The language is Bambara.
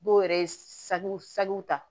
Dɔw yɛrɛ ye sagw sanjiw ta